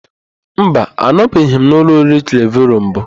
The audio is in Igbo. Mba, anọbeghị m n'ụlọ oriri Klevero mbụ.